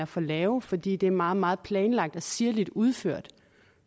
for lave fordi det er meget meget planlagte og sirligt udførte